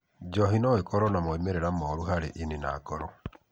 Njohi no ĩkorũo na moimĩrĩro moru harĩ ini na ngoro.